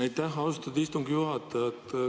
Aitäh, austatud istungi juhataja!